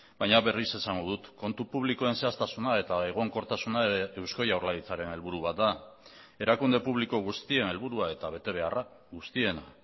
baina berriz esango dut kontu publikoen zehaztasuna eta egonkortasuna eusko jaurlaritzaren helburu bat da erakunde publiko guztien helburua eta betebeharra guztiena